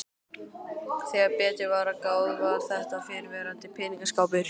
Þegar betur var að gáð var þetta fyrrverandi peningaskápur.